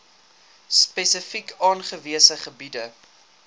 spesifiek aangewese gebiede